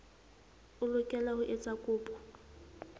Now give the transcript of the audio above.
o lokela ho etsa kopo